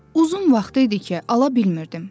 Uzun vaxt idi ki, ala bilmirdim.